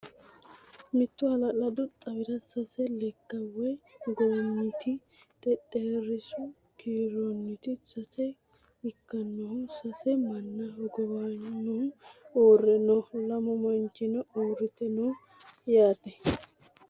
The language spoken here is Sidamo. Mittu halaladdu xawirra sasse lekka woyi gommitti xexxerisu kiiroteni sasse ikkannohu sasse manna hoggowanohu uurre noo. lamu manichino uuritte noo yaate